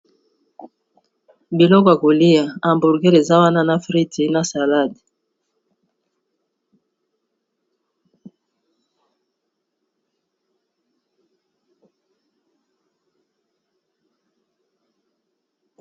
Biloko ya kolia, hambourger eza wana na frittes, na salade .